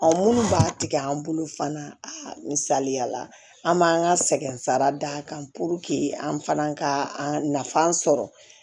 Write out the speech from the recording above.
minnu b'a tigɛ an bolo fana a misaliya la an b'an ka sɛgɛn sara d'a kan an fana ka nafa sɔrɔ